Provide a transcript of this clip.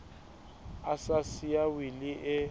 a sa siya wili e